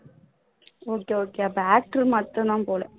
okay okay அப்போ actor மட்டும் தான் போல